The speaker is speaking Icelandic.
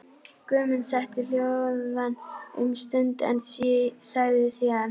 Guðmund setti hljóðan um stund en sagði síðan: